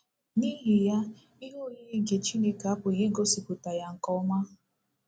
N’ihi ya ihe oyiyi nke Chineke apụghị igosipụta ya nke ọma.